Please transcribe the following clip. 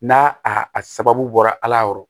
N'a a sababu bɔra ala yɔrɔ